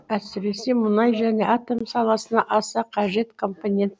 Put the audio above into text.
әсіресе мұнай және атом саласына аса қажет компонент